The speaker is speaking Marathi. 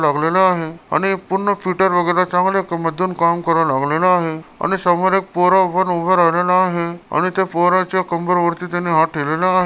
लागलेला आहे आणि एक पूर्ण फिटर वगेरे चांगले एक मजूर काम करू लागलेला आहे आणि समोर एक पोरं उभा राह- राहिलेला आहे आणि त्या पोराच्या कंबरवरती त्यांनी हात ठेवलेला आहे.